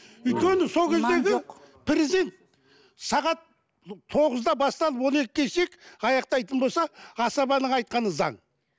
өйткені сол кездегі сағат тоғызда басталып он екі аяқтайтын болса асабаның айтқаны заң